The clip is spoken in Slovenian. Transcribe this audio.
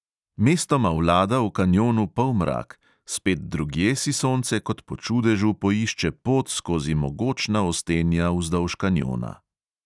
Mestoma vlada v kanjonu polmrak, spet drugje si sonce kot po čudežu poišče pot skozi mogočna ostenja vzdolž kanjona.